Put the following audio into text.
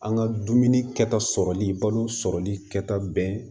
An ka dumuni kɛta sɔrɔli balo sɔrɔli kɛta bɛɛ